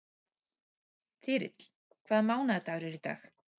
Þyrill, hvaða mánaðardagur er í dag?